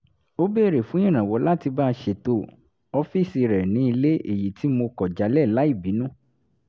ó béèrè fún ìrànwọ̀ láti bá a ṣètọ̀ ọ́fíìsì rẹ̀ ní ilé èyí tí mo kọ̀ jálẹ̀ láì bínú